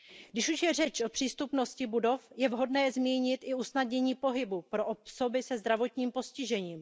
Když už je řeč o přístupnosti budov, je vhodné zmínit i usnadnění pohybu pro osoby se zdravotním postižením.